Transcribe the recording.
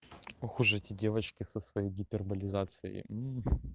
ох уж эти девочки со своей гиперболизацией